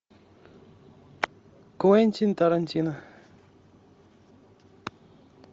квентин тарантино